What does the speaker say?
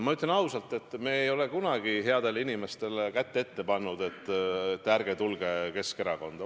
Ma ütlen ausalt, et me ei ole kunagi headele inimestele kätt ette pannud, et ärge tulge Keskerakonda.